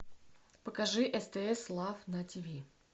покажи стс лав на тв